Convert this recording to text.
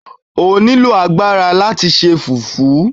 O nílò agbára láti se Fùfú.